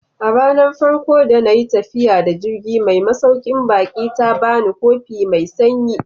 A ranar farko da na yi tafiya da jirgi mai masaukin baki ta ba ni kofi mai sanyi.